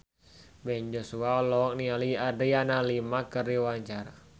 Ben Joshua olohok ningali Adriana Lima keur diwawancara